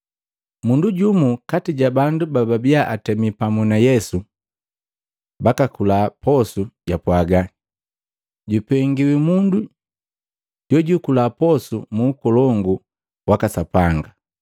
Mundu jumu kati ja bandu bababia atemi pamu na Yesu bakakula posu japwaga, “Jupengiwi mundu jojwikula posu mu ukolongu waka Sapanga.”